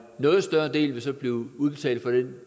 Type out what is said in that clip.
noget større del vil så blive udbetalt på det